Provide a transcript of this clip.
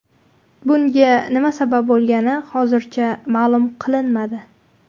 Bunga nima sabab bo‘lgani hozircha ma’lum qilinmadi.